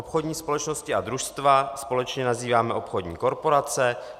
Obchodní společnosti a družstva společně nazýváme obchodní korporace.